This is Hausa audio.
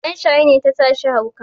Shaye-shaye ne ta sashi hauka.